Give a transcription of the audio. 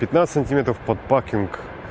пятнадцать сантиметров под пакинг